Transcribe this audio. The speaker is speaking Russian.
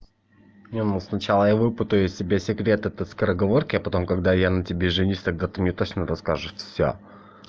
не ну сначала я выпытаю себе секрет этой скороговорки а потом когда я на тебе женюсь тогда ты мне точно расскажешь всё